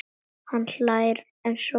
Hann hlær eins og barn.